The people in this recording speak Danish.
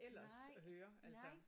Nej nej